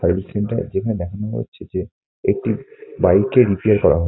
service centre এখানে দেখানো হচ্ছে যে একটি বাড়িকে রিপেয়ার করা হ--